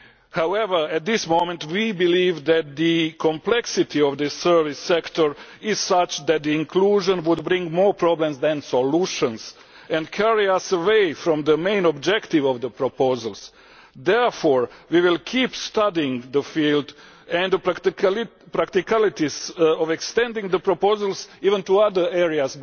However, at the moment we believe that the complexity of the service sector is such that inclusion would bring more problems than solutions and would carry us away from the main objective of the proposals. Therefore, we will keep studying the field and even the practicalities of extending the proposals to other areas.